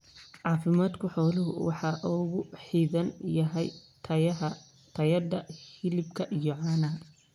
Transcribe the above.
Caafimaadka xooluhu waxa uu ku xidhan yahay tayada hilibka iyo caanaha.